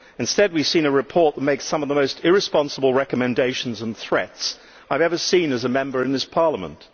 Instead, we have seen a report that makes some of the most irresponsible recommendations and threats I have ever seen as a Member of this Parliament.